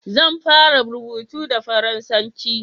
zan fara rubutu da faransanci